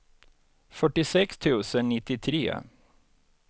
fyrtiosex tusen nittiotre